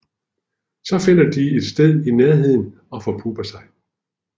Så finder de et sted i nærheden og forpupper sig